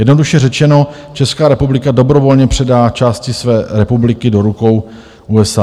Jednoduše řečeno, Česká republika dobrovolně předá části své republiky do rukou USA.